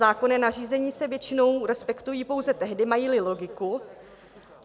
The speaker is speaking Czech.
Zákonná nařízení se většinou respektují pouze tehdy, mají-li logiku.